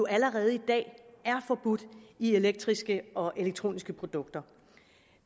allerede i dag er forbudt i elektriske og elektroniske produkter